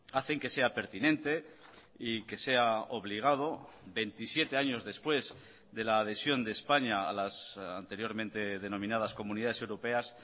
hacen que sea pertinente y que sea obligado veintisiete años después de la adhesión de españa a las anteriormente denominadas comunidades europeas